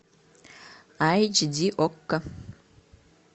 айч ди окко